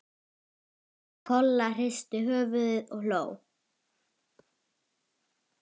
Kolla hristi höfuðið og hló.